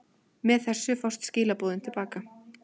Með þessu fást skilaboðin til baka.